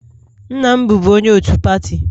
Nna m bụbu onye otu pati